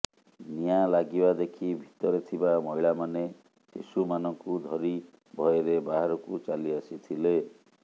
ନିଆଁ ଲାଗିବା ଦେଖି ଭିତରେ ଥିବା ମହିଳାମାନେ ଶିଶୁମାନଙ୍କୁ ଧରି ଭୟରେ ବାହାରକୁ ଚାଲି ଆସିଥିଲେ